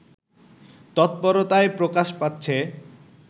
তৎপরতায় প্রকাশ পাচ্ছে